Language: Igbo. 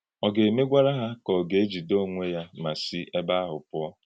Ọ̀ ga-emégwàrà hà, kà ọ̀ ga-èjíde onwé yá mà sị ébé ahụ pụ̀ọ?